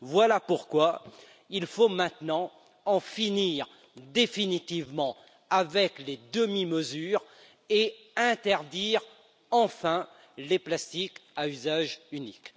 Voilà pourquoi il faut maintenant en finir définitivement avec les demi mesures et interdire enfin les plastiques à usage unique.